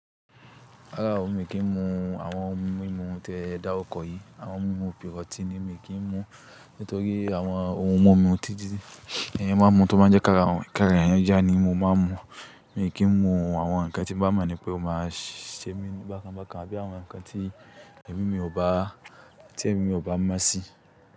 Rárá o, mi kì í mu àwọn ohun mímu tí ẹ dáru kọ yìí. Àwọn ohun mímu pírọ́tínì mi kì í mu nítorí àwọn ohun wọ́n mu títí, èèyàn máa ń mu tó má jẹ́ káàra èèyàn yá ni mo máa ń mu. Mi kì í mu àwọn ǹkan tí mo mọ̀ ní pé ó máa ṣe mí bákan bákan àbí àwọn ǹkan tí èmi mi ò bá mọ̀ sí.